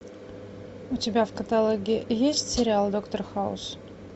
у тебя в каталоге есть сериал доктор хаус